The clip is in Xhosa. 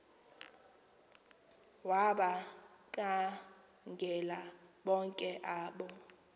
wabakhangela bonke abo